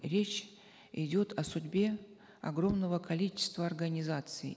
речь идет о судьбе огромного количества организаций